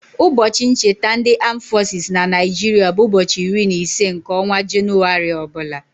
Ụbọchị ncheta ndị aam fọsis na Naịjiria bụ ụbọchị iri na ise nke ọnwa Jenụwarị ọbụla.